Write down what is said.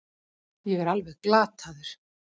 Ég er alveg glataður.